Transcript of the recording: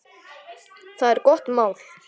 Það er gott mál.